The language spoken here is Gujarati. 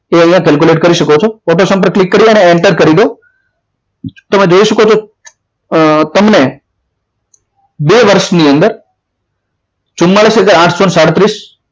તો અહીંયા કેલ્ક્યુલેટ કરી શકો છો સૌ પ્રથમ auto સંપર્ક ક્લિક કરીને enter કરી દો તેમાં જોઈ શકો છો તમને બે વર્ષની અંદર ચુમાડીસ આઠસો સાડત્રીસ